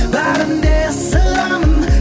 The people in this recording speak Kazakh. бәрін де ысырамын